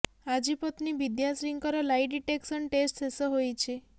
ଆଜି ପତ୍ନୀ ବିଦ୍ୟାଶ୍ରୀଙ୍କର ଲାଇ ଡିଟେକ୍ସନ ଟେଷ୍ଟ ଶେଷ ହୋଇଛି